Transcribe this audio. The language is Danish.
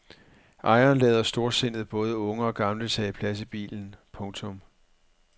Ejeren lader storsindet både unge og gamle tage plads i bilen. punktum